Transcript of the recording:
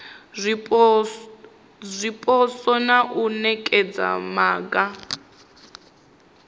zwipotso na u nekedza maga